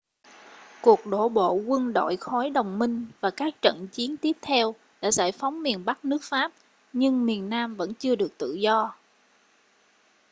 cuộc đổ bộ quân đội khối đồng minh và các trận chiến tiếp theo đã giải phóng miền bắc nước pháp nhưng miền nam vẫn chưa được tự do